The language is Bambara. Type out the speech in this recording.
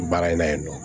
Baara in na yen nɔ